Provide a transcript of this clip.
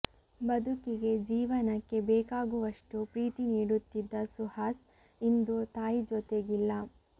ಬದುಕಿಗೆ ಜೀವನಕ್ಕೆ ಬೇಕಾಗುವಷ್ಟು ಪ್ರೀತಿ ನೀಡುತ್ತಿದ್ದ ಸುಹಾಸ್ ಇಂದು ತಾಯಿ ಜೊತೆಗಿಲ್ಲ